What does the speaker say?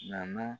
Naan